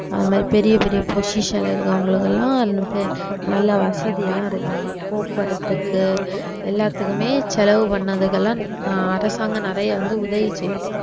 அது மாதிரி பெரிய பெரிய position ல இருக்கறவங்களுக்கு எல்லாம் பெ~ நல்ல வசதி எல்லாம் இருக்கு அவுங்களுக்கு போக்குவரத்துக்கு எல்லாத்துக்குமே செலவு பண்ணதுக்கு எல்லாம் அஹ் அரசாங்கம் நிறைய வந்து உதவி செய்யுது